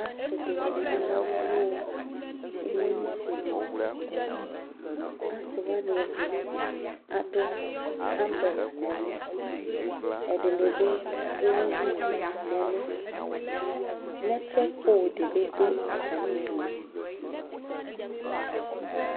Ase de ne kana alu no umolisi liAse wane ɛde ado ambreɔa nɛlu Ɛde be be ewu duku nɛluNɛtwɛk poo de be do atane due